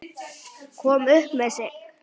Kom upp um sig.